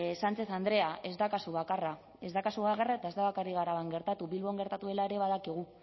sánchez andrea ez da kasu bakarra ez da kasu bakarra eta ez da bakarrik araban gertatu bilbon gertatu dela ere badakigu